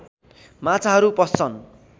माछाहरू पस्छन्